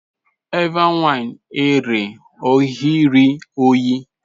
Evbe wine ẹre ọ ghi rhie uyi